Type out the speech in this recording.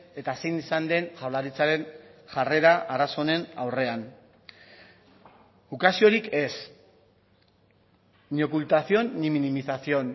eta zein izan den jaurlaritzaren jarrera arazo honen aurrean ukaziorik ez ni ocultación ni minimización